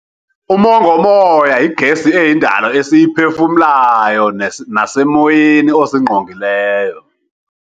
Umongomoya yigesi eyindalo esiyiphefumlayo nesemoyeni osingqongileyo.